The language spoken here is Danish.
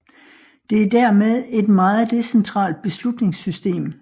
Det er dermed et meget decentralt beslutningssystem